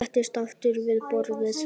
Settist aftur við borðið.